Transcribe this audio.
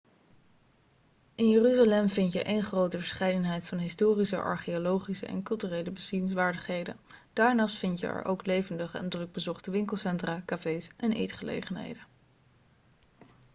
in jeruzalem vind je eenn grote verscheidenheid aan historische archeologische en culturele bezienswaardigheden daarnaast vind je er ook levendige en drukbezochte winkelcentra cafés en eetgelegenheden